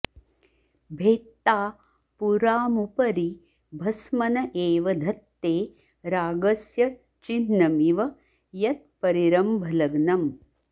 भेत्ता पुरामुपरि भस्मन एव धत्ते रागस्य चिह्नमिव यत्परिरम्भलग्नम्